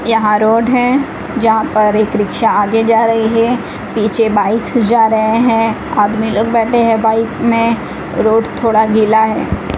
यहां रोड है जहां पर एक रिक्शा आगे जा रही है पीछे बाइक्स जा रहे हैं आदमी लोग बैठे हैं बाइक में रोड थोड़ा गीला है।